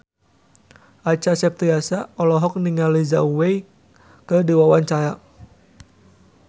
Acha Septriasa olohok ningali Zhao Wei keur diwawancara